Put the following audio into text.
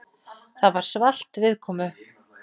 Það var svalt viðkomu.